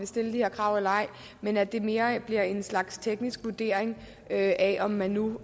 stilles de her krav men at det mere bliver en slags teknisk vurdering af om man nu